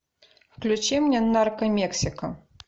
включи мне нарко мексика